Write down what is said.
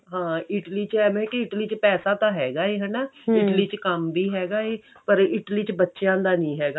ਹਾਂ Italy ਚ ਐਵੇਂ ਕਿ Italy ਚ ਪੈਸਾ ਤਾਂ ਹੈਗਾ ਐ ਹਨਾ Italy ਚ ਕੰਮ ਵੀ ਹੈਗਾ ਏ ਪਰ Italy ਚ ਬੱਚਿਆਂ ਦਾ ਨਹੀਂ ਹੈਗਾ